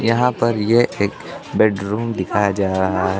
यहां पर यह एक बेडरूम दिखाया जा रहा--